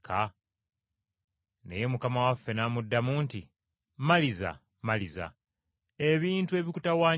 Naye Mukama waffe n’amuddamu nti, “Maliza, Maliza, ebintu ebikutawaanya bingi,